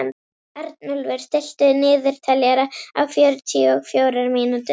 Arnúlfur, stilltu niðurteljara á fjörutíu og fjórar mínútur.